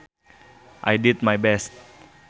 I did my best